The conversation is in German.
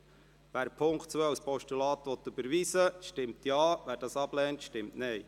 Wer den Punkt 2 als Postulat überweisen will, stimmt Ja, wer dies ablehnt, stimmt Nein.